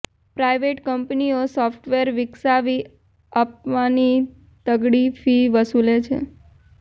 private કંપનીઓ software વિકસાવી આપવાની તગડી ફી વસૂલે છે